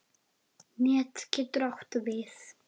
Net getur átt við